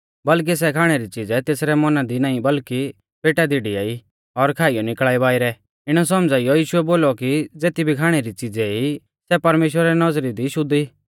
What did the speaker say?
कैलैकि सै खाणै री च़ीज़ै तेसरै मौना दी नाईं बल्कि पेटा दी डियाई और खाइयौ निकल़ा ई बाइरै इणै सौमझ़ाइयौ यीशुऐ बोलौ कि ज़ेती भी खाणै री च़ीज़ै ई सै परमेश्‍वरा री नौज़री दी शुद्ध ई